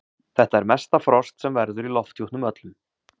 Þetta er mesta frost sem verður í lofthjúpnum öllum.